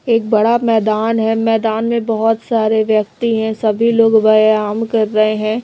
एक बड़ा मैदान है मैदान में बहोत सारे व्यक्ति हैं सभी लोग व्ययाम कर रहे हैं।